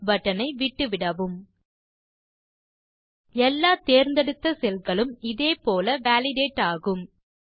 mass button ஐ விட்டுவிடவும் எல்லா தேர்ந்தெடுத்த செல் களும் இதே போல வாலிடேட் ஆகும்